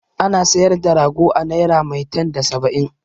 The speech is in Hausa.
Ana sayar da rago a naira maitan da saba'in.